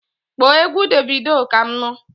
Kpọọ égwu Davido Kam nu!